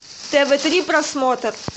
тв три просмотр